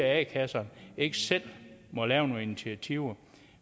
at a kasserne ikke selv må lave nogle initiativer